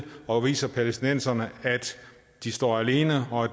og viser palæstinenserne at de står alene og